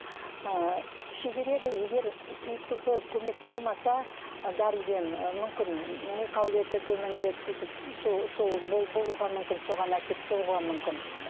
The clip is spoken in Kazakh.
ыыы шегереді егер приступы көмек болмаса дәріден ы мүмкін ми қабілеті төмендеп сөйтіп сол сол болуға мүмкін соған әкеліп соғуға мүмкін